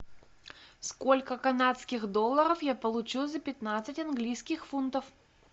сколько канадских долларов я получу за пятнадцать английских фунтов